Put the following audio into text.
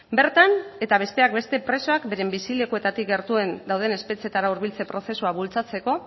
bertan eta besteak beste presoak beren bizilekuetatik gertuen dauden espetxeetara hurbiltze prozesua bultzatzeko